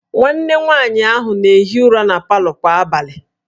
Nwanne nwaanyị ahụ na-ehi ụra na palọ kwa abalị